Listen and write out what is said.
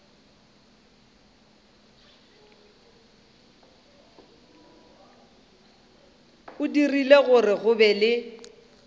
dirile gore go be le